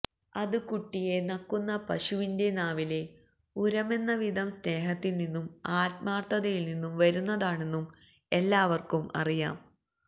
അത് കുട്ടിയെ നക്കുന്ന പശുവിന്റെ നാവിലെ ഉരമെന്നവിധം സ്നേഹത്തില്നിന്നും ആത്മാര്ഥതയില്നിന്നും വരുന്നതാണെന്നും എല്ലാവര്ക്കും അറിയാം